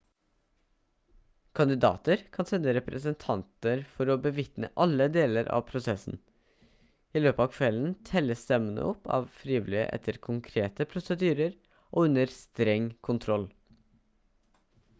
kandidater kan sende representanter for å bevitne alle deler av prosessen i løpet av kvelden telles stemmene opp av frivillige etter konkrete prosedyrer og under streng kontroll